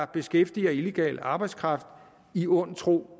beskæftiger illegal arbejdskraft i ond tro